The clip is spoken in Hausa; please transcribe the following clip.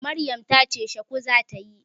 Maryam ta ce shuku za ta yi.